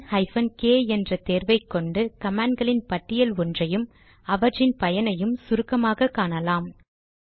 man hyphen k என்ற தேர்வை கொண்டு கமாண்ட் களின் பட்டியல் ஒன்றையும் அவற்றின் பயனையும் சுருக்கமாக காட்டும்